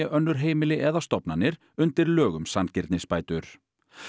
önnur heimili eða stofnanir undir lög um sanngirnisbætur